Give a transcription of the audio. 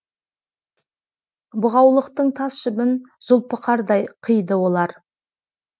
бұғаулықтың тас жібін зұлпықардай қиды олар